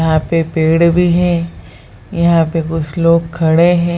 यहाँ पे पेड़ भी है यहाँ पे कुछ लोग खड़े है।